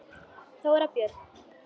Þóra Björg.